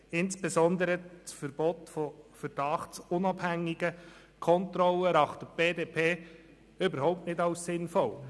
Insbesondere das Verbot von verdachtsunabhängigen Kontrollen erachtet die BDP überhaupt nicht als sinnvoll.